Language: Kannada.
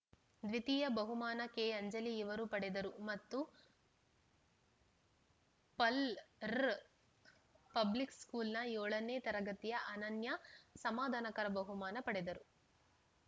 ದ್ವಿತೀಯ ಬಹುಮಾನ ಕೆಅಂಜಲಿ ಇವರು ಪಡೆದರು ಮತ್ತು ಪಲ್‌ ರ್ರ್ ಪಬ್ಲಿಕ್‌ ಸ್ಕೂಲ್‌ನ ಏಳನೇ ತರಗತಿಯ ಅನನ್ಯ ಸಮಧಾನಾಕರ ಬಹುಮಾನ ಪಡೆದರು